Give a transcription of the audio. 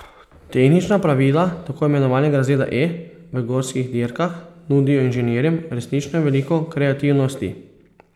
Tehnična pravila tako imenovanega razreda E v gorskih dirkah nudijo inženirjem resnično veliko kreativnosti.